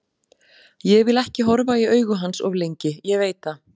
Ég vil ekki horfa í augu hans of lengi, ég veit það.